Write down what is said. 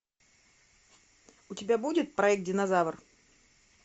у тебя будет проект динозавр